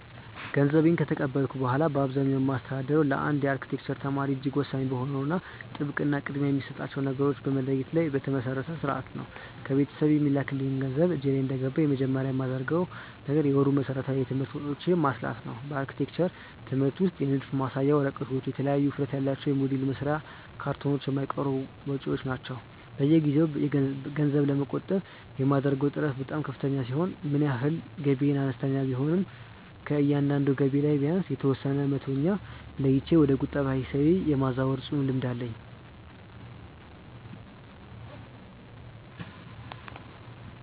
ገንዘቤን ከተቀበልኩ በኋላ በአብዛኛው የማስተዳድረው ለአንድ የአርክቴክቸር ተማሪ እጅግ ወሳኝ በሆነው ጥብቅ እና ቅድሚያ የሚሰጣቸውን ነገሮች በመለየት ላይ በተመሰረተ ሥርዓት ነው። ከቤተሰብ የሚላክልኝ ገንዘብ እጄ ላይ እንደገባ መጀመሪያ የማደርገው ነገር የወሩን መሠረታዊ የትምህርት ወጪዎቼን ማስላት ነው። በአርክቴክቸር ትምህርት ውስጥ የንድፍ መሳያ ወረቀቶች፣ የተለያዩ ውፍረት ያላቸው የሞዴል መስሪያ ካርቶኖች የማይቀሩ ወጪዎች ናቸው። በየጊዜው ገንዘብ ለመቆጠብ የማደርገው ጥረት በጣም ከፍተኛ ሲሆን ምንም ያህል ገቢዬ አነስተኛ ቢሆንም ከእያንዳንዱ ገቢ ላይ ቢያንስ የተወሰነውን መቶኛ ለይቼ ወደ ቁጠባ ሂሳቤ የማዛወር ጽኑ ልምድ አለኝ።